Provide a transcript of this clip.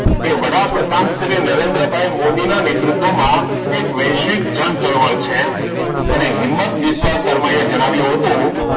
એ વડાપ્રધાન શ્રી નરેન્દ્ર ભાઈ મોદી ના નેતૃત્વ માં એક વૈશ્વિક જનચળવળ છે. અને હિંમત વિશ્વકર્માએ જણાવ્યું હતું.